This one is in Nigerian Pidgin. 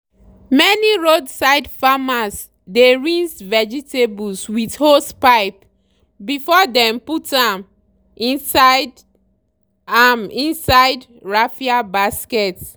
many roadside farmers dey rinse vegetables with hosepipe before dem put am inside am inside raffia basket.